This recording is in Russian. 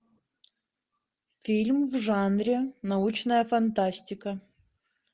фильм в жанре научная фантастика